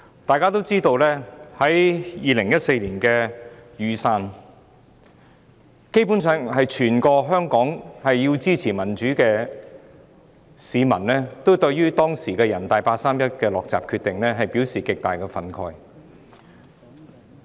眾所周知 ，2014 年雨傘運動基本上是源於全港支持民主的市民，均對當時人大常委會作出的八三一"落閘"決定極感憤慨。